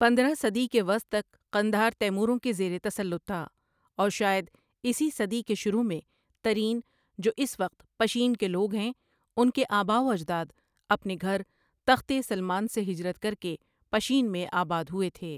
پندرہ صدی کے وسط تک قندھار تیموروں کے زیر تسلط تھا اور شائد اسی صدی کے شروع میں ترین جو اِس وقت پشین کے لوگ ہیں اَُن کے آباءواجداد اپنے گھر تخت ِسلمان سے ہجرت کر کے پشین میں آباد ہوئے تھے۔